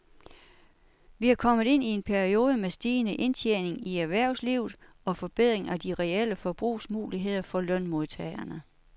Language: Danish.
Vi er kommet ind i en periode med stigende indtjening i erhvervslivet og forbedring af de reelle forbrugsmuligheder for lønmodtagerne.